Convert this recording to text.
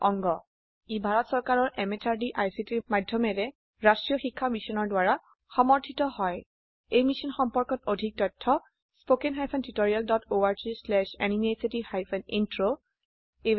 ই ভাৰত চৰকাৰৰ MHRDৰ ICTৰ মাধয়মেৰে ৰাস্ত্ৰীয় শিক্ষা মিছনৰ দ্ৱাৰা সমৰ্থিত হয় এই মিশ্যন সম্পৰ্কত অধিক তথ্য spoken hyphen tutorial dot org slash এনএমইআইচিত হাইফেন ইন্ট্ৰ ৱেবচাইটত পোৱা যাব